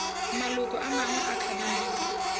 maloko a mangwe a kabinete